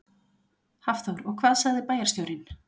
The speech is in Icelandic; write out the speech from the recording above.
Hafþór: Og hvað sagði bæjarstjórinn?